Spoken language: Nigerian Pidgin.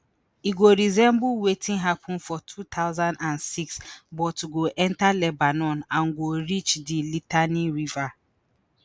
e go resemble wetin happun for two thousand and six but go enta lebanon and go reach di litani river